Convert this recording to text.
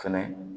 Fɛnɛ